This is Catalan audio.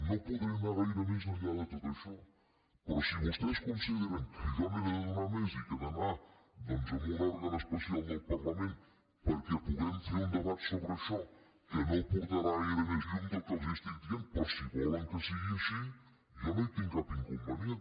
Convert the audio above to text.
no podré anar gaire més enllà de tot això però si vostès conside·ren que jo n’he de donar més i que he d’anar doncs a un òrgan especial del parlament perquè puguem fer un debat sobre això que no portarà gaire més llum del que els estic dient però si volen que sigui així jo no hi tinc cap inconvenient